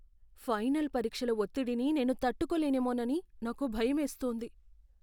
Final పరీక్షల ఒత్తిడిని నేను తట్టుకోలేనేమోనని నాకు భయమేస్తోంది.